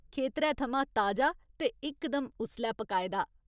खेतरै थमां ताजा ते इकदम उसलै पकाए दा।